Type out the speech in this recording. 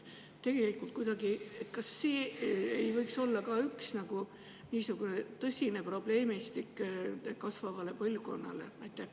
Kas see ei võiks olla ka üks niisugune tõsine probleemistik kasvavale põlvkonnale?